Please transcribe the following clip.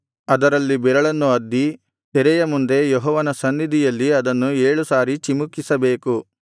ಅದರಲ್ಲಿ ಬೆರಳನ್ನು ಅದ್ದಿ ತೆರೆಯ ಮುಂದೆ ಯೆಹೋವನ ಸನ್ನಿಧಿಯಲ್ಲಿ ಅದನ್ನು ಏಳು ಸಾರಿ ಚಿಮುಕಿಸಬೇಕು